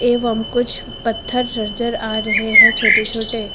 एवं कुछ पत्थर नजर आ रहे है छोटे छोटे।